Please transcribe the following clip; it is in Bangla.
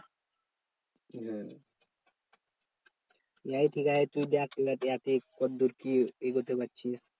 হ্যাঁ লে ঠিকাছে তুই দেখ কতদূর কি এগোতে পারছিস?